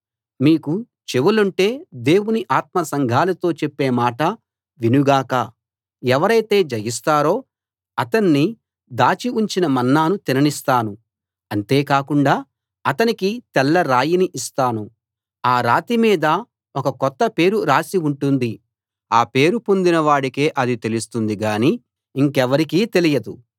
మీకు చెవులుంటే దేవుని ఆత్మ సంఘాలతో చెప్పే మాట విను గాక ఎవరైతే జయిస్తారో అతణ్ణి దాచి ఉంచిన మన్నాను తిననిస్తాను అంతే కాకుండా అతనికి తెల్ల రాయిని ఇస్తాను ఆ రాతి మీద ఒక కొత్త పేరు రాసి ఉంటుంది ఆ పేరు పొందిన వాడికే అది తెలుస్తుంది గానీ ఇంకెవరికీ తెలియదు